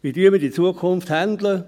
Wie gehen wir mit der Zukunft um?